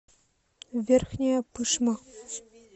верхняя пышма